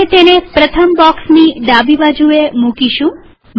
આપણે તેને પ્રથમ બોક્સની ડાબીબાજુએ મુકીશું